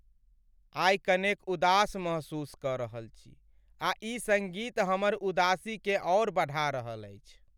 आइ कनेक उदास महसूस कऽ रहल छी आ ई सङ्गीत हमर उदासीकेँ आओर बढ़ा रहल अछि।